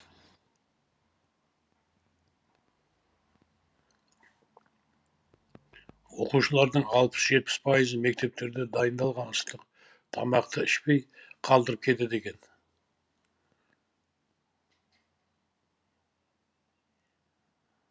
оқушылардың алпыс жетпіс пайызы мектептерде дайындалған ыстық тамақты ішпей қалдырып кетеді екен